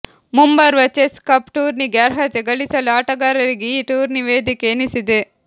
ಮುಂಬರುವ chess cup ಟೂರ್ನಿಗೆ ಅರ್ಹತೆ ಗಳಿಸಲು ಆಟಗಾರರಿಗೆ ಈ ಟೂರ್ನಿ ವೇದಿಕೆ ಎನಿಸಿದೆ